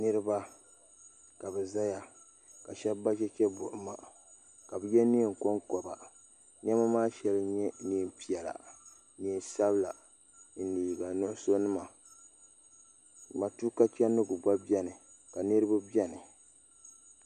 Niriba ka bɛ zaya ka sheba ba chɛchɛ buɣima ka bɛ ye niɛn'konkoba niɛma maa sheli nyɛ niɛnpiɛla niɛn'sabla ni liiga nuɣuso nima matuuka chendigu gba biɛni ka niriba biɛni.